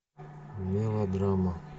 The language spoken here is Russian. мелодрама